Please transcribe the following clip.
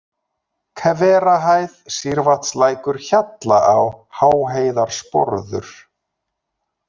Hverahæð, Sýrvatnslækur, Hjallaá, Háheiðarsporður